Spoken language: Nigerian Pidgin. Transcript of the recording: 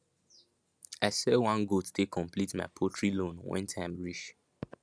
i sell one goat take complete my poultry loan when time reach